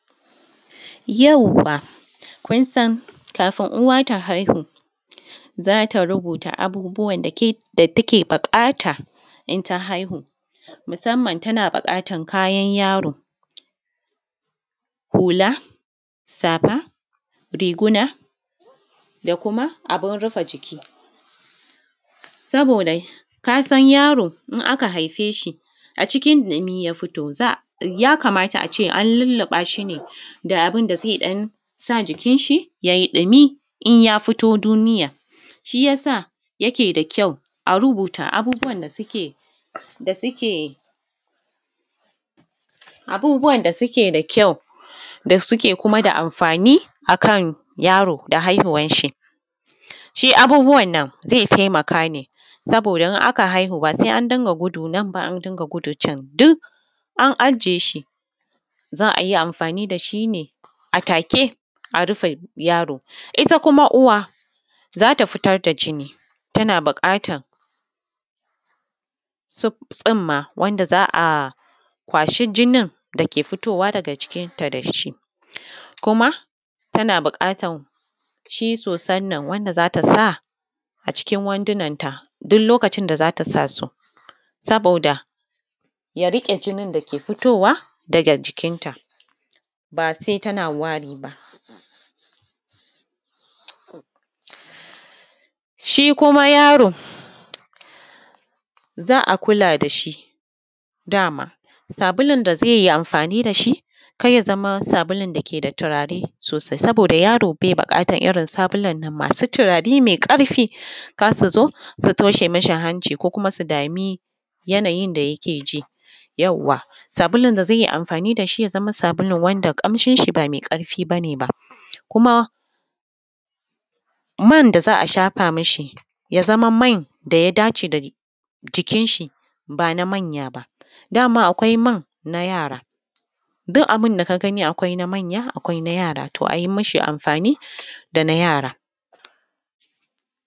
Yawwa! Kun san, kafin uwa ta haihu, za ta rubuta abubuwan da take buƙata in ta haihu. Musamman tana buƙatar kayan yaro, hula, safa, riguna da kuma abin rufe jiki. Saboda ka san yaro in aka haife shi, a cikin ɗumi ya fito, za, ya kamata a ce an lulluɓa shi ne da abin da zai ɗan sa jikinshi ya yi ɗumi in ya fito duniya. Shi ya sa, yake da kyau a rubuta abubuwan da suke, da suke, abubuwan da suke da kyau, da suke kuma da amfani a kan yaro da haihuwanshi. Shi abubuwan nan zai taimaka ne, saboda in aka haihu ba sai an dinga gudu nan ba, an dinga gudu can, duk, an ajiye shi za a yi amfani da shi ne a take a rufe yaro. Ita kuma uwa, za ta fitar da jini tana buƙatan, tsumma wanda za a kwashi jinin da ke fitowa daga jikinta da shi, kuma tana buƙatar shi sosan nan wanda za ta sa, a cikin wandunanta, duk lokacin da za ta sa su, saboda ya riƙe jinin da ke fitowa daga jikinta, ba sai tana wari ba. Shi kuma yaro, za a kula da shi da ma. Sabulun da zai yi amfani da shi, kar ya zama sabulun da ke da turare sosai saboda yaro bai buƙatar irin sabulan nan masu turare mai ƙarfi, kar su zo su toshe mishi hanci ko kuma su dami yanayin da yake ji. Yawwa! Sabulun da zai yi amfani da shi ya zama sabulu wanda ƙamshinshi ba mai ƙarfi ba ne ba. Kuma, man da za a shafa mishi, ya zama man da ya dace da jikinshi, ba na manya ba. Da ma akwai man na yara. Duk abin da ka gani akwai na manya, akwai na yara. To a yi mashi amfani da na yara.